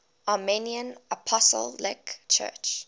armenian apostolic church